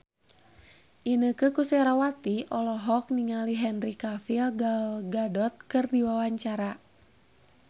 Inneke Koesherawati olohok ningali Henry Cavill Gal Gadot keur diwawancara